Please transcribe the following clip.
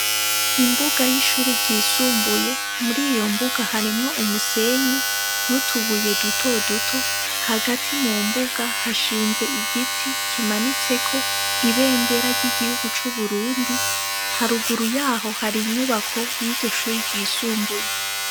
Imbuga y'ishuri ryisumbuye muri iyo mbuga haremwo umusenyi n'utubuye dutoduto hagati mu mbuga hashinze igiti kimanitseko ibendera ry'igihugu c'uburundi haruguru yaho hari inyubako y'iryo shuri ryisumbuye.